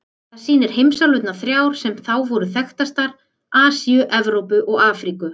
Það sýnir heimsálfurnar þrjár sem þá voru þekktar: Asíu, Evrópu og Afríku.